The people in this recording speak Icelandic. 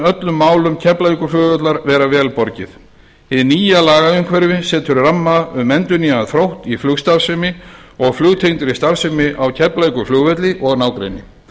öllum málum keflavíkurflugvallar vera vel borgið hið nýja lagaumhverfi setur ramma um endurnýjaðan þrótt í flugstarfsemi og flugtengdri starfsemi á keflavíkurflugvelli og nágrenni